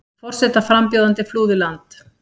Forsetaframbjóðandi flúði land